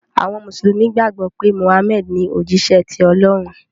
àwọn mùsùlùmí gbàgbó pé Muhammad ní òjíṣẹ tí Olórun.